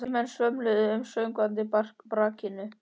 Þrír menn svömluðu um í sökkvandi brakinu.